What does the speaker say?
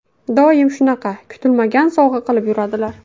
Doim shunaqa kutilmagan sovg‘a qilib yuradilar.